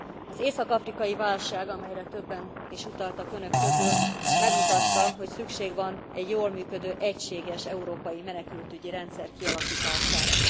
Az észak afrikai válság, amelyre többen is utaltak Önök közül, megmutatta, hogy szükség van egy jól működő, egységes európai menekültügyi rendszer kialakítására.